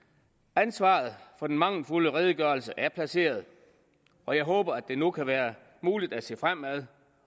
ansvaret for den mangelfulde redegørelse er placeret og jeg håber at det nu kan være muligt at se fremad